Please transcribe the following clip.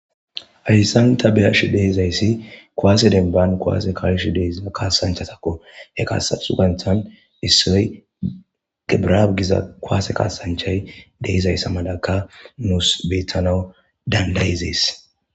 Haysan ta beyashe dizays kuwase demban kuwase ka'ishe diza kadanchatako. He kasanchatani issoy debirab giza kuwase kasanchay dizaysa malaka nusi betanawu dandayizes.